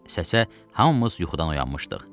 Səsə hamımız yuxudan oyanmışdıq.